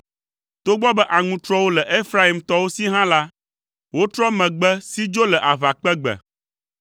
Togbɔ be aŋutrɔwo le Efraimtɔwo si hã la, wotrɔ megbe si dzo le aʋakpegbe.